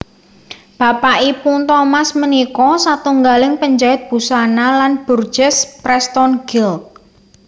Bapakipun Thomas punika satunggaling penjait busana lan burgess Preston Guild